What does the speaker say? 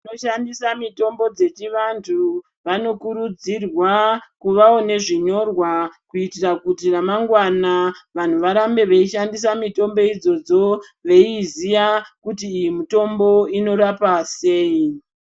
Vanoshandisa mitombo dzechivanhu, vanokurudzirwa kuvawo nezvinyorwa kuitira kuti ramangwana vanhu varambe veishandisa mitombo idzodzo veiiziya kuti iyi mitombo inorapa sei.